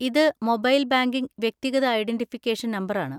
ഇത് mobile banking വ്യക്തിഗത identification നമ്പറാണ്.